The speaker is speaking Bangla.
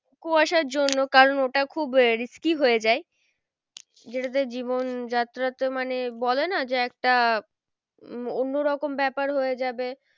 কুয়াশার জন্য কারণ ওটা খুব আহ risky হয়ে যায়। যেটাতে জীবন যাত্রাতে মানে বলে না যে একটা উম একটা অন্য রকম ব্যাপার হয়ে যাবে।